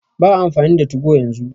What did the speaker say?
Ba'a amfani da 2go yanzu.